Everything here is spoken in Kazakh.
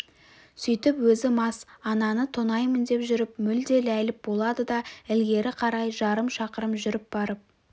сөйтіп өзі мас ананы тонаймын деп жүріп мүлде ләйліп болады да ілгері қарай жарым шақырым жүріп барып